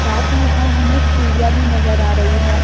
साथ ही यहां हमें सीढ़ियां भी नजर आ रही है।